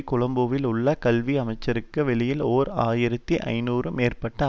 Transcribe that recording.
கொழும்பில் உள்ள கல்வி அமைச்சுக்கு வெளியில் ஓர் ஆயிரத்தி ஐநூறு மேற்பட்ட